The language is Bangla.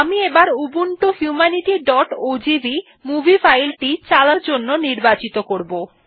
আমি এবার উবুন্টু humanityওজিভি মুভি ফাইল টি চালানোর জন্য নির্বাচিত করবো